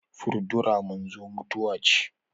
furdura manzo mutuwa ce